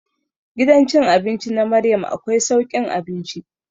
Gidan cin abinci na Maryam akwai saukin abinci.